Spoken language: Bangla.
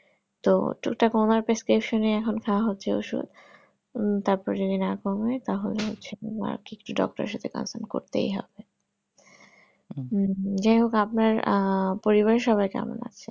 তো টুক টাক আমার prescription এ এখন খাওয়া হচ্ছে ঔষুধ উম তারপরে যদি না কমে তাহলে হচ্ছে না কিছু doctor এর সাথে concern করতেই হবে যাই হোক আপনার আহ পরিবারের সবাই কেমন আছে